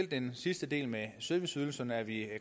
den sidste del med serviceydelserne er vi i